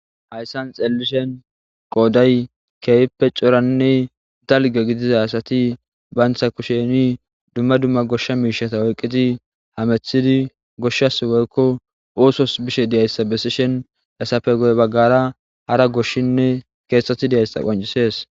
hayssan xeellishen qooday keefpe coranne dalge gidiza asati bayntha kusheni dumma dumma goshsha miishata oyqqiti hamethidi goshshas woykko oosos bishe diyayssa besishen hesafe goy baggara hara goshshinne keeththatti diyayssa qoncisees